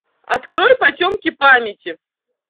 открой потемки памяти